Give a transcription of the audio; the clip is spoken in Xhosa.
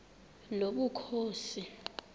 nobukhosi